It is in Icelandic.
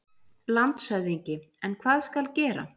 LANDSHÖFÐINGI: En hvað skal gera?